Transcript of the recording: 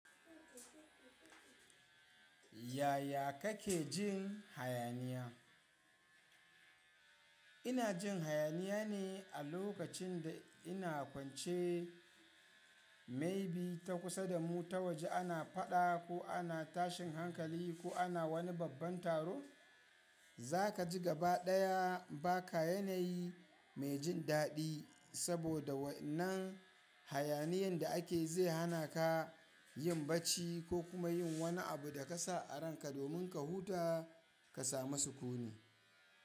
Yaya kake jin hayaniya? Ina jin hayaniya ne a lokacin da ina kwance maybe ta kusa da mu ta waje ana faɗa ko ana tashin hankali ko ana wani babban taro. Za ka ji gabaɗaya ba ka yanayi mai jin daɗi saboda wannan hayaniyan da ake zai hana ka yin bacci ko kuma yin wani abu da ka sa a ranka domin ka huta ka samu sukuni.